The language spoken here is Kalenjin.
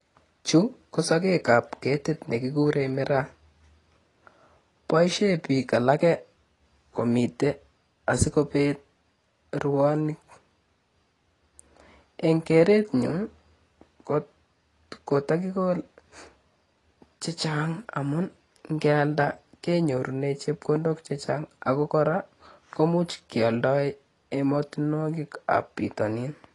Chu ko sokek kab ketit nekikuren miraa. Boisien biik alake komite asikobeet ruoni. Eng keret nyun kota kekole chechang amun ngealda kenyorunen chepkondok chechang aku kora, kemuch kealdae ematunwokikab bitonin.